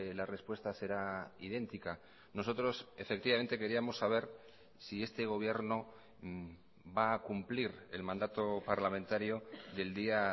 la respuesta será idéntica nosotros efectivamente queríamos saber si este gobierno va a cumplir el mandato parlamentario del día